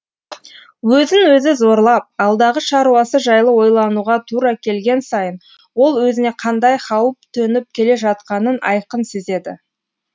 өзін өзі зорлап алдағы шаруасы жайлы ойлануға тура келген сайын ол өзіне қандай хауіп төніп келе жатқанын айқын сезеді